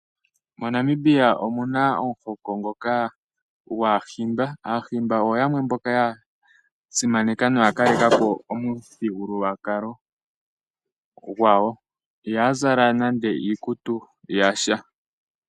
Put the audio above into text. Mo Namibia omuna omuhoko ngoka gwaaHimba. Aahimba oyo yamwe mboka ya simaneka noya kalekapo omuthigululwakalo gwawo. Ihaya zala nande iikutu yasha.